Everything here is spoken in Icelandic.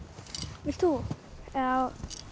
vilt þú já